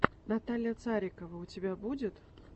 наталья царикова у тебя будет